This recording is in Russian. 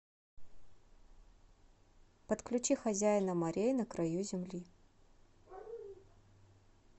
подключи хозяина морей на краю земли